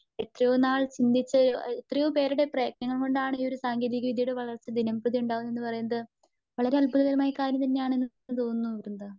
എത്രയോ നാൾ ചിന്തിച്ചൊരു എത്രയോ പേരുടെ പ്രയ്തനം കൊണ്ടാണ് ഈ ഒരു സാങ്കേതിക വിദ്ത്യയുടെ വളർച്ച ദിനം പ്രതിയുണ്ടാവുന്നുന്ന് പറയുന്നത്. വളരെ അദ്ത്ഭുതം കരമായ കാര്യം തന്നെയാണന്നു തോന്നുന്നു വൃന്ത.